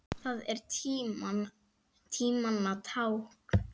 Það er tímanna tákn.